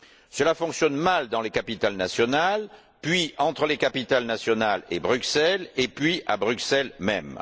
Cela fonctionne mal dans les capitales nationales, puis entre les capitales nationales et Bruxelles, et puis à Bruxelles même.